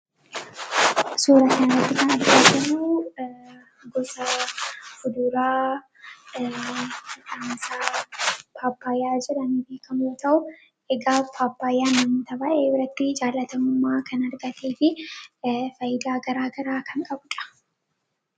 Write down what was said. suurateennotti kan arkaagir gusa uduraa dhaamasaa paappaayaa jiran biikamoo ta'u egaa paappaayyaa mammitabaa'ee birratti jaalatamummaa kan argatee fi faayyidaa garaa garaa kan qabudha